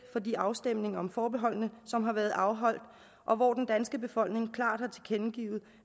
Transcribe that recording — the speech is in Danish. for de afstemninger om forbeholdene som har været afholdt og hvor den danske befolkning klart har tilkendegivet